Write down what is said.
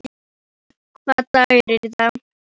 Jason, hvaða dagur er í dag?